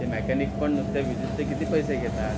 ते मेकॅनिक पण नुसते व्हिजीटचे किती पैसे घेतात